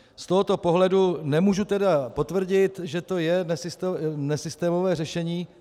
Z tohoto pohledu nemůžu tedy potvrdit, že to je nesystémové řešení.